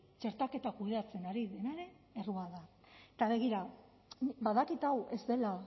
txertaketa kudeatzen ari denaren errua da eta begira badakit hau ez dela